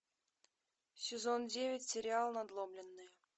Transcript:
сезон девять сериал надломленные